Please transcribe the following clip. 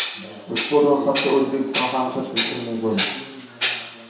Ushbu ro‘yxatga O‘zbekiston ham kiritilishi mumkin.